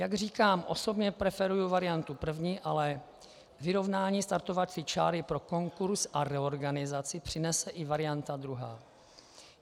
Jak říkám, osobně preferuji variantu první, ale vyrovnání startovací čáry pro konkurz a reorganizaci přinese i varianta druhá.